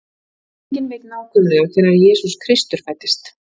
Enginn veit nákvæmlega hvenær Jesús Kristur fæddist.